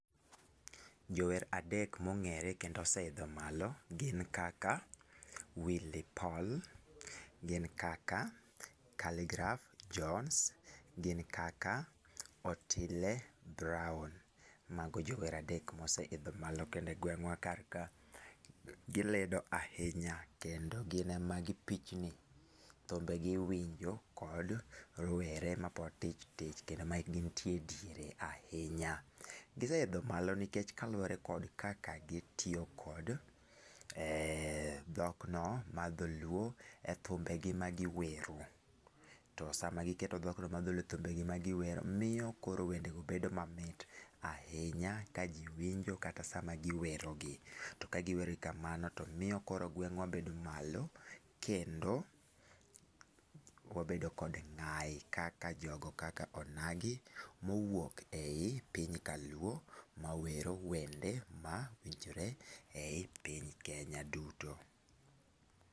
Jower adek mongere kendo oseidho malo gin kaka Willy Paul, gin kaka, Kaligraph Jones ,gin kaka Otile Brown. Mago jower adek moseidho malo kendo e gwengwa kar ka gilido ahinya kendo gine ma gipichni, thumbegi iwinjo kod rowere mapod tich tich kendo mae gintiere diere ahinya. Giseidho malo nikech kaluore kod kaka gitiyo kod dhok no mar dholuo e thumbegi ma giwero, to sama giketo dhok no mar dholuo e thumbegi magiwero miyo koro wendego bedo mamit ahinya ka jii winjo kata sama jii werogi. To ka giwer kamano mio koro gwengwa bedo malo kendo wabedo kod ng'ai kaka jogo kaka onagi mowuok ei piny kaluo mawero wende mawinjore ei piny Kenya duto